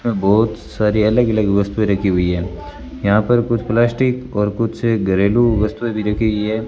बहोत सारी अलग अलग वस्तुएं रखी हुई है यहां पर कुछ प्लास्टिक और कुछ घरेलू वस्तुएं भी रखी गई है।